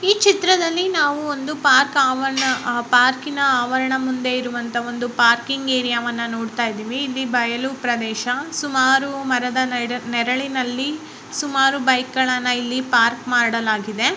ಈ ಚಿತ್ರದಲ್ಲಿ ನಾವು ಒಂದು ಪಾರ್ಕ್ ಆವರಣ ಪಾರ್ಕಿನ ಆವರಣ ಮುಂದೆ ಇರುವಂತ ಒಂದು ಪಾರ್ಕಿಂಗ್ ಏರಿಯಾವನ್ನು ನೋಡ್ತಾ ಇದ್ದೀವಿ ಇಲ್ಲಿ ಬಯಲು ಪ್ರದೇಶ ಸುಮಾರು ಮರದ ನೆರಳಿನಲ್ಲಿ ಸುಮಾರು ಬೈಕ್ ಗಳನ್ನು ಇಲ್ಲಿ ಪಾರ್ಕ್ ಮಾಡಲಾಗಿದೆ.